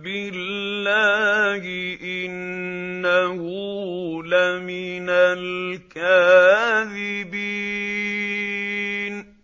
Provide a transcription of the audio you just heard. بِاللَّهِ ۙ إِنَّهُ لَمِنَ الْكَاذِبِينَ